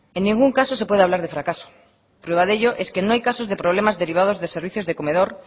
en ningún caso se puede hablar de fracaso prueba de ello es que no hay casos de problemas derivados de servicios de comedor